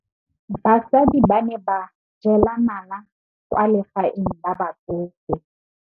Basadi ba ne ba jela nala kwaa legaeng la batsofe.